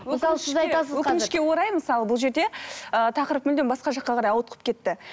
өкінішке орай мысалы бұл жерде ыыы тақырып мүлдем басқа жаққа қарай ауытқып кетті